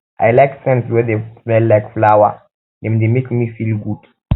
i like scents wey dey smell like flower dem dey make me feel good